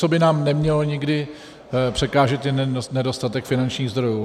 Co by nám nemělo nikdy překážet, je nedostatek finančních zdrojů.